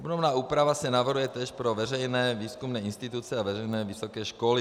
Obdobná úprava se navrhuje též pro veřejné výzkumné instituce a veřejné vysoké školy.